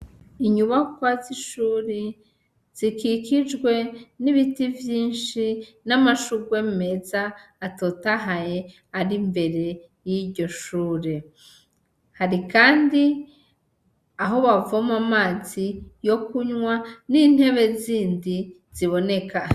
inyubakwa zi shuri zikikijwe n'ibiti vyishi n'amashurwe meza atotahaye ari imbere yiryo shure hari kandi aho bavoma amazi yo kunwa n'intebe zindi ziboneka.